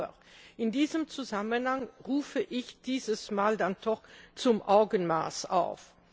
Aber in diesem Zusammenhang rufe ich diesmal dann doch zu Augenmaß auf.